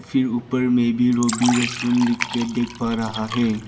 फिर ऊपर में भी रोबी रेस्टोरेंट लिख के देख पा रहा है।